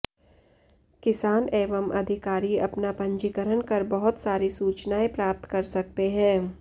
किसान एवं अधिकारी अपना पंजीकरण कर बहुत सारी सूचनाएं प्राप्त कर सकते हैं